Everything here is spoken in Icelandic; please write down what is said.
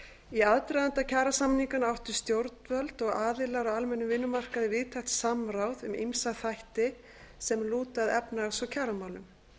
í aðdraganda kjarasamninganna áttu stjórnvöld og aðilar á almennum vinnumarkaði víðtækt samráð um ýmsa þætti sem lúta að efnahags og kjaramálum